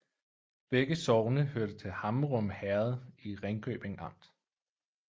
Begge sogne hørte til Hammerum Herred i Ringkøbing Amt